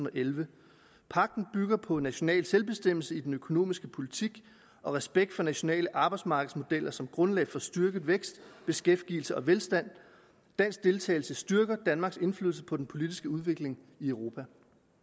og elleve pagten bygger på national bestemmelse i den økonomiske politik og respekt for nationale arbejdsmarkedsmodeller som grundlag for styrket vækst beskæftigelse og velstand dansk deltagelse styrker danmarks indflydelse på den politiske udvikling i europa